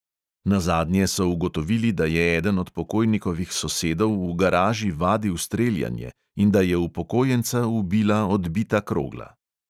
Nazadnje so ugotovili, da je eden od pokojnikovih sosedov v garaži vadil streljanje in da je upokojenca ubila odbita krogla.